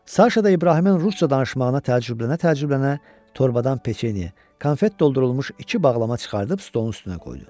Saşa da İbrahimin rusca danışmağına təəccüblənə-təəccüblənə torbadan peçenye, konfet doldurulmuş iki bağlama çıxarıb stolun üstünə qoydu.